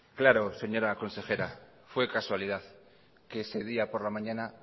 claro señora consejera fue casualidad que ese día por la mañana